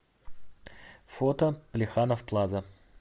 фото плеханов плаза